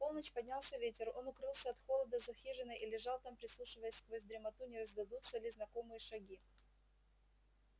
в полночь поднялся ветер он укрылся от холода за хижиной и лежал там прислушиваясь сквозь дремоту не раздадутся ли знакомые шаги